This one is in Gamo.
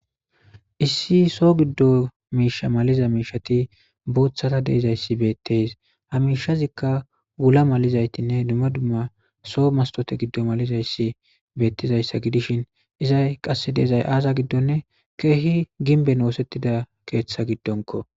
issi soo giddo miisha maliza miishati boothata deizayssi beetteys hamishazikka wula malizaytinne duma dumma soo mastote giddo malizayssi beettizayssa gidishin izay qasse deizay aaza giddonne keehi ginben oosettida keeththa giddonko